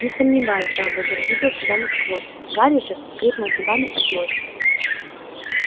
не сомневаюсь дамблдор видел тебя насквозь гарри же скрипнул зубами от злости